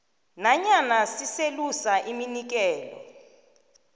nanyana siselusa iminikelo